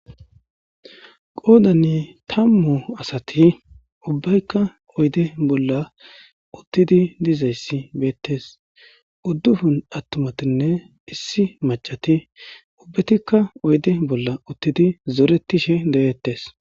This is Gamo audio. qoodani tammu asati ubbaykka oyde bolla uttidi dizayssi beettes uddufun attumatinne issi macati ubbetikka oyde bolla uttidi zoretishe de'ettes